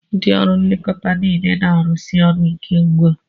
Ndị ọrụ nlekọta niile na-arụsi ọrụ ike ugbu a.